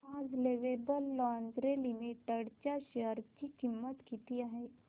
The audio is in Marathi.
आज लवेबल लॉन्जरे लिमिटेड च्या शेअर ची किंमत किती आहे